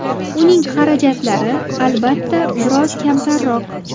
Uning xarajatlari, albatta, biroz kamtarroq.